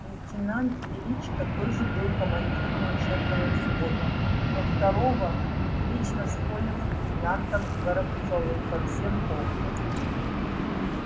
лейтенант величко тоже был командиром учебного взвода но второго вечно спорил с лейтенантом горобцовым по всем поводам